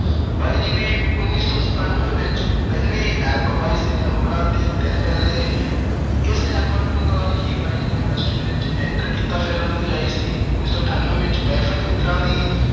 ਬਾਈ ਜੀ ਦੀ ਉਨੀ ਸੌ ਸਤਾਨਵੇਂ ਵਿੱਚ ਪਹਿਲੀ album ਆਈ ਸੀ, numbers ਤੇ ਦਿਲ ਮਿਲਦੇ। ਇਸ album ਨਾਲ ਹੀ ਬਾਈ ਜੀ ਨੇ industry ਵਿੱਚ enter ਕੀਤਾ। ਫਿਰ ਉਹਨਾਂ ਦੀ ਆਈ ਸੀ, ਉਨੀ ਸੌ ਅਠਾਨਵੇਂ ਵਿੱਚ- ਮਹਿਫ਼ਲ ਮਿੱਤਰਾਂ ਦੀ।